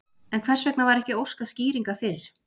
En hvers vegna var ekki óskað skýringa fyrr?